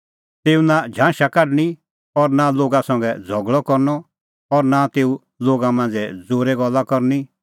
तेऊ नां झांशा काढणीं और नां लोगा संघै झ़गल़अ करनअ और नां तेऊ लोगा मांझ़ै ज़ोरै गल्ला करनी